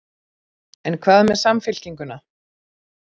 En hvað með Samfylkinguna?